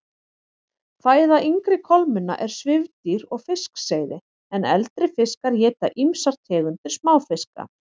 Fæða yngri kolmunna er svifdýr og fiskseiði en eldri fiskar éta ýmsar tegundir smáfiska.